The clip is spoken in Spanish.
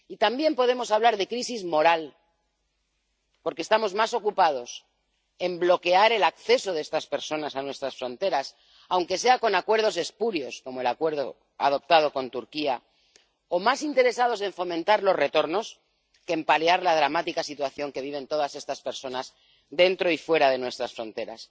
Y también podemos hablar de crisis moral, porque estamos más ocupados en bloquear el acceso de estas personas a nuestras fronteras, aunque sea con acuerdos espurios, como el acuerdo adoptado con Turquía, o más interesados en fomentar los retornos que en paliar la dramática situación que viven todas estas personas dentro y fuera de nuestras fronteras.